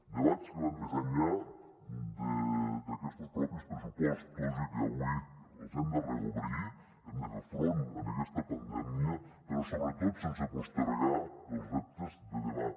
debats que van més enllà d’aquestos mateixos pressupostos i que avui els hem de reobrir hem de fer front en aquesta pandèmia però sobretot sense postergar els reptes de demà